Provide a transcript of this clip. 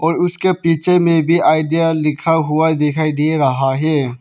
और उसके पीछे में भी आईडिया लिखा हुआ दिखाई दे रहा है।